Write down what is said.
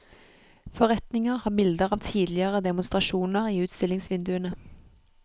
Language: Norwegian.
Forretninger har bilder av tidligere demonstrasjoner i utstillingsvinduene.